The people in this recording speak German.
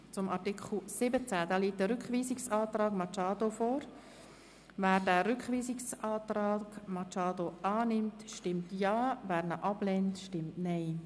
Wer den Rückweisungsantrag Machado annimmt, stimmt Ja, wer diesen ablehnt, stimmt Nein.